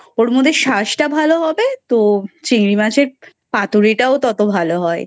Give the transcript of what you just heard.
ওর মধ্যে শাঁস ভালো হবে তো চিংড়ি মাছের পাতুড়িটাও ততো ভালো হয়।